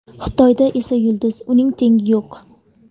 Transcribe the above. Xitoyda esa yulduz, uning tengi yo‘q.